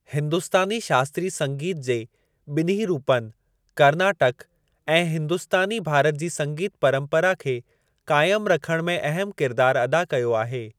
हिंदुस्तानी शास्त्रीय संगीतु जे ॿिन्ही रूपनि, कर्नाटक ऐं हिंदुस्तानी भारत जी संगीत परंपरा खे क़ाइम रखणु में अहम किरदार अदा कयो आहे।